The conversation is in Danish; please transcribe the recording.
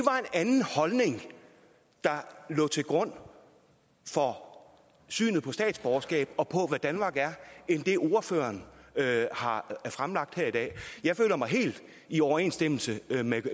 anden holdning der lå til grund for synet på statsborgerskab og på hvad danmark er end den ordføreren har fremlagt her i dag jeg føler mig helt i overensstemmelse